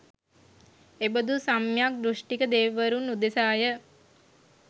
එබඳු සම්‍යග් දෘෂ්ටික දෙවිවරුන් උදෙසාය.